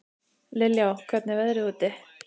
Liljá, hvernig er veðrið úti?